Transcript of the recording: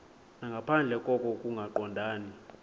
nangaphandle koko kungaqondani